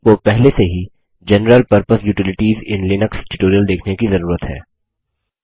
आपको पहले से ही general purpose utilities in Linux tutorial देखने की जरूरत है